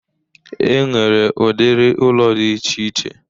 E nwere udiri ụlọ dị iche iche